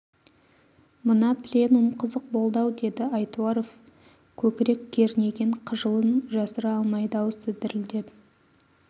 мына пленум қызық болды-ау деді айтуаров көкірек кернеген қыжылын жасыра алмай дауысы дірілдеп